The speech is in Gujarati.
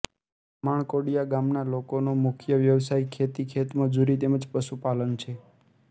માણકોડીયા ગામના લોકોનો મુખ્ય વ્યવસાય ખેતી ખેતમજૂરી તેમ જ પશુપાલન છે